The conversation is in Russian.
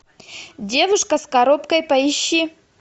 девушка с коробкой поищи